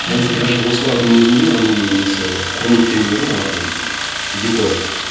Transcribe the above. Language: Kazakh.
даже осылардың өзінде оның несі құрметтен гөрі оларға бір декор